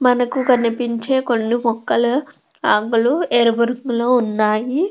మనకు కొన్ని పెంచే కొన్ని మొక్కలు ఆకులు ఎరుపు రంగులో ఉంటాయి.